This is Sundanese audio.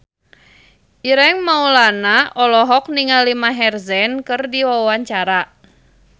Ireng Maulana olohok ningali Maher Zein keur diwawancara